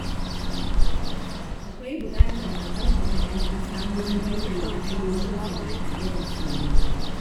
Akwai buƙatar a ƙarfafa ‘yan ƙasa wurin bayyana ra’ayoyinsu ba tare da tsoro ba.